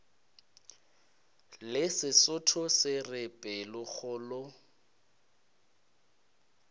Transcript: le sesotho se re pelokgolo